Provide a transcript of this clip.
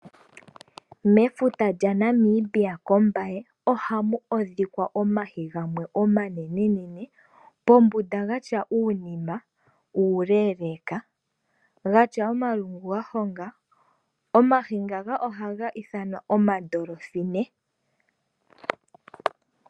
Mefuta lyaNamibia kOmbaye ohamu adhika omahi gamwe omanenenene, pombunda gatya uunima uuleeleeka, gatya omalungu gahonga, omahi ngaka ohaga ithanwa omaDolphine.